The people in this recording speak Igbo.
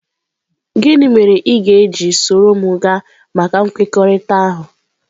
Gịnị mere ị ga-eji soro m gaa maka nkwekọrịta ahụ?